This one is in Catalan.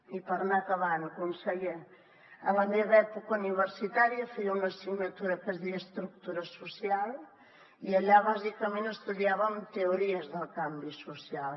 i per anar acabant conseller en la meva època universitària feia una assignatura que es deia estructura social i allà bàsicament estudiàvem teories del canvi social